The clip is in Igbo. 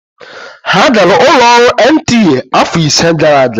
Ha gara ụlọ ọrụ NTA afọ ise gara aga.